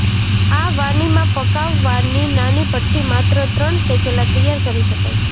આ વાનીમાં પકાવવાની નાની ભઠ્ઠી માત્ર પણ શેકેલા તૈયાર કરી શકાય છે